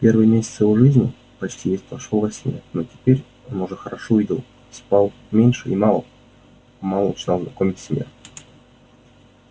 первый месяц его жизни почти весь прошёл во сне но теперь он уже хорошо видел спал меньше и мало-помалу начинал знакомиться с миром